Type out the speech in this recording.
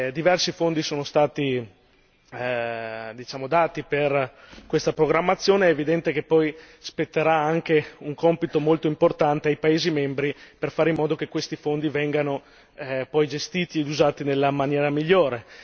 Diversi fondi sono stati diciamo dati per questa programmazione, è evidente che poi spetterà anche un compito molto importante ai paesi membri per fare in modo che questi fondi vengano poi gestiti e usati nella maniera migliore.